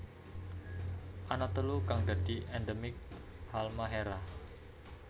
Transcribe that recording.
Ana telu kang dadi endemik Halmahera